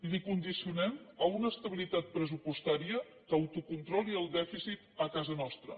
l’hi condicionem a una estabilitat pressupostària que autocontroli el dèficit a casa nostra